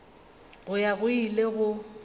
go ya go ile go